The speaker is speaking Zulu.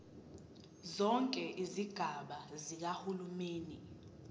zonke izigaba zikahulumeni